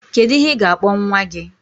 Kedu ihe ị ga-akpọ nwa gị?